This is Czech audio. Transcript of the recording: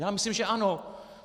Já myslím, že ano.